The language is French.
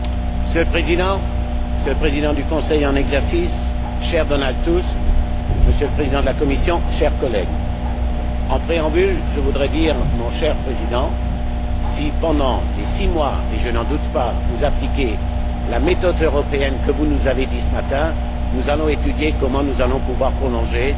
Monsieur le Président, Monsieur le Président du Conseil en exercice, cher Donald Tusk, Monsieur le Président de la Commission, chers collègues, en préambule, je voudrais dire, mon cher Président, que si, pendant ces six mois et je n'en doute pas vous appliquez la méthode européenne que vous nous avez décrite ce matin, nous réfléchirons au moyen de prolonger